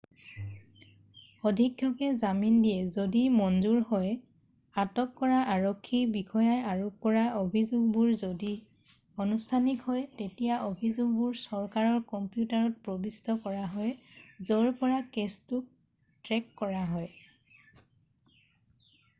অধীক্ষকে জামিন দিয়ে যদি মঞ্জুৰ হয় আৰু আটক কৰা আৰক্ষী বিষয়াই আৰোপ কৰা অভিযোগবোৰ যদি আনুষ্ঠানিক হয় তেতিয়া অভিযোগবোৰ চৰকাৰৰ কম্পিউটাৰত প্ৰৱিষ্ট কৰা হয় য'ৰ পৰা কেছটো ট্ৰেক কৰা হয়